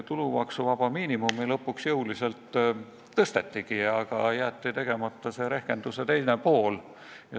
Tulumaksuvaba miinimumi lõpuks jõuliselt tõstetigi, aga jäeti tegemata rehkenduse teine pool.